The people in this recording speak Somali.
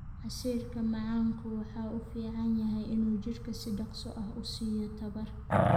Casiirka macaanku waxa uu u fiican yahay in uu jidhka si dhakhso ah u siiyo tamar.